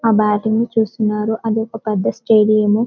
ఆ బేటింగ్ చూస్తున్నారు అదొక పెద్ద స్టేడియం .